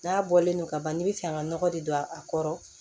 N'a bɔlen don ka ban n'i bɛ fɛ ka nɔgɔ de don a kɔrɔ